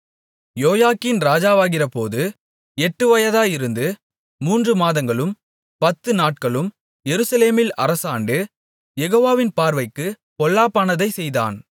யோயாக்கீன் ராஜாவாகிறபோது எட்டு வயதாயிருந்து மூன்று மாதங்களும் பத்து நாட்களும் எருசலேமில் அரசாண்டு யெகோவாவின் பார்வைக்குப் பொல்லாப்பானதை செய்தான்